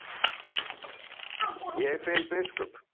Ég verð að finna biskup!